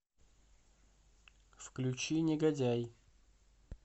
включи негодяй